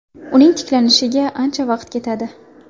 Uning tiklanishiga ancha vaqt ketadi.